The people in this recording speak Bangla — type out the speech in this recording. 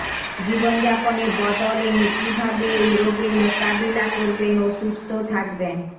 জীবনযাপনে বদল এনে কী ভাবে এই রোগের মোকাবিলা করবেন ও সুস্থ থাকবেন